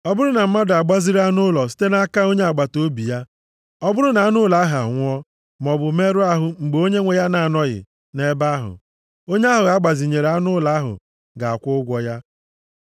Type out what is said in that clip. “Ọ bụrụ na mmadụ agbaziri anụ ụlọ site nʼaka onye agbataobi ya, ọ bụrụ na anụ ụlọ ahụ anwụọ, maọbụ merụọ ahụ mgbe onyenwe ya na-anọghị nʼebe ahụ, onye ahụ a gbazinyere anụ ụlọ ahụ ga-akwụ ụgwọ ya.